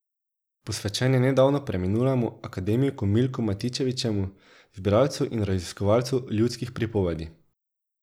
Posvečen je nedavno preminulemu akademiku Milku Matičetovemu, zbiralcu in raziskovalcu ljudskih pripovedi.